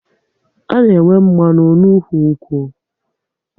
A na-enweta mmanụ n'ụkwụ nkwụ